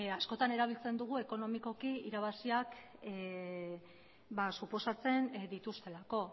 askotan erabiltzen dugu ekonomikoki irabaziak ba suposatzen dituztelako